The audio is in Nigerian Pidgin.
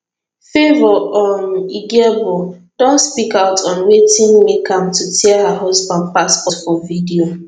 favour um igiebor don speak out on wetin make am to tear her husband passport for video